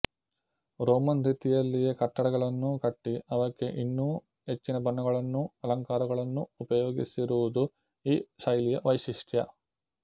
Roman ರೀತಿಯಲ್ಲಿಯೇ ಕಟ್ಟಡಗಳನ್ನೂ ಕಟ್ಟಿ ಅವಕ್ಕೆ ಇನ್ನೂ ಹೆಚ್ಚಿನ ಬಣ್ಣಗಳನ್ನೂ ಅಲಂಕರಣಗಳನ್ನೂ ಉಪಯೋಗಿಸಿರುವುದು ಈ ಶೈಲಿಯ ವೈಶಿಷ್ಟ್ಯ